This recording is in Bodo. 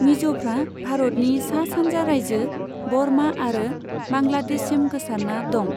मिज'फ्रा भारतनि सा सानजा राइजो, बर्मा आरो बांग्लादेशसिम गोसारना दं।